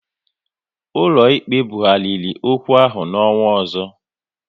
Ụlọ ikpe bughariri okwu ahụ n'ọnwa ọzọ